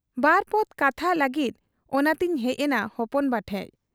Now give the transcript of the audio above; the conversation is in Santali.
ᱵᱟᱨᱯᱚᱫᱽ ᱠᱟᱛᱷᱟᱜ ᱞᱟᱹᱜᱤᱫ ᱚᱱᱟᱛᱮᱧ ᱦᱮᱡ ᱮᱱᱟ ᱦᱚᱯᱚᱱᱵᱟ ᱴᱷᱮᱫ ᱾